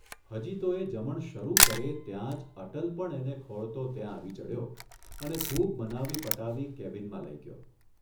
હજી તો એ જમણ શરૂ કરે ત્યાં જ અટલ પણ એને ખોળતો ત્યાં આવી ચઢ્યો અને ખુબ મનાવી પટાવી કેબિનમાં લઇ ગયો.